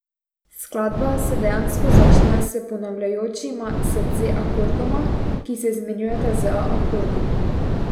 Skladba se dejansko začne s ponavljajočima se C akordoma, ki se izmenjujeta z A akordom.